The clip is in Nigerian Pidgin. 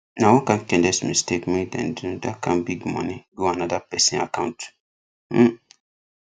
na one kain careless mistake make them do that kain big money go another person account um